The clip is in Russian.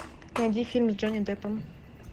найди фильм с джонни деппом